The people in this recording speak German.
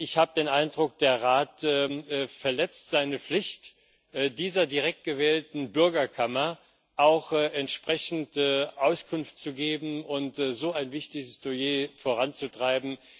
Ich habe den Eindruck, der Rat verletzt seine Pflicht, dieser direkt gewählten Bürgerkammer auch entsprechend Auskunft zu geben und so ein wichtiges Dossier voranzutreiben.